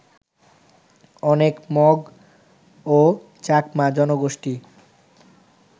অনেক মগ ও চাকমা জনগোষ্ঠী